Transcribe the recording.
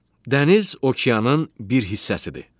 Dəniz okeanın bir hissəsidir.